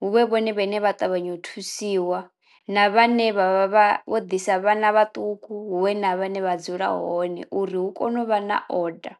huvhe vhone vhane vha ṱavhanyo u thusiwa na vhane vha vha vha vho ḓisa vhana vhaṱuku hu vhe na vhane vha dzula hone uri hu kone u vha na order.